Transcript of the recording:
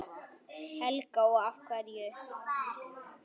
Helga: Og af hverju?